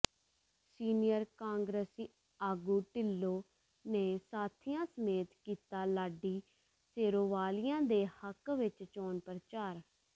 senior ਕਾਂਗਰਸੀ ਆਗੂ ਢਿੱਲੋਂ ਨੇ ਸਾਥੀਆਂ ਸਮੇਤ ਕੀਤਾ ਲਾਡੀ ਸੇਰੋਵਾਲੀਆ ਦੇ ਹੱਕ ਵਿਚ ਚੋਣ ਪ੍ਰਚਾਰ